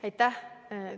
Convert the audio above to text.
Aitäh!